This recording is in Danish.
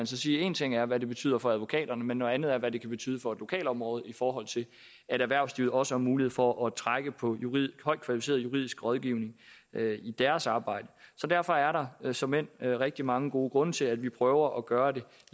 så sige at en ting er hvad det betyder for advokaterne men noget andet er hvad det kan betyde for et lokalområde altså i forhold til at erhvervslivet også har mulighed for at trække på højt kvalificeret juridisk rådgivning i deres arbejde så derfor er der såmænd rigtig mange gode grunde til at vi prøver at gøre det